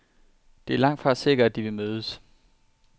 Det er langtfra sikkert, at de vil mødes.